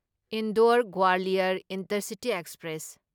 Indore Gwalior intercity express